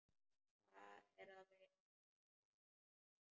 Hvað er að, vinur minn?